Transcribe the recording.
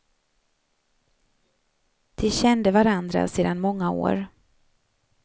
De kände varandra sedan många år.